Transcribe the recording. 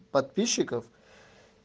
подписчиков